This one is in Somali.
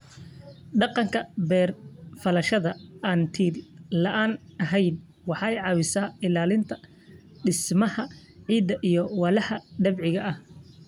Dhaqanka beer-falashada aan-till-la'aanta ahayn waxay caawisaa ilaalinta dhismaha ciidda iyo walxaha dabiiciga ah.